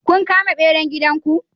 Kun kama beran gidan ku?